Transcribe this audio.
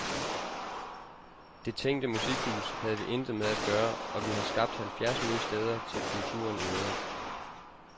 Det tænkte musikhus havde vi intet med at gøre, og vi har skabt halvfjerds nye steder til kulturen i øvrigt.